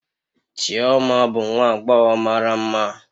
Chioma bụ nwa agbọghọ mara mma